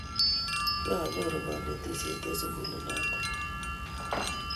kianyoru kanetishet eng sukulit noto